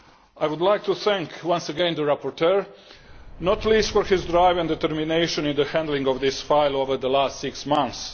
I would like to thank once again the rapporteur, not least for his drive and determination in the handling of this file over the last six months.